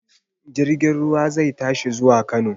Jirgin ruwa zai tashi zuwa Kano.